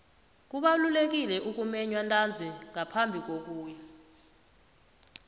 kubalulekile ukumenywa ntanzi ngaphambi kokuya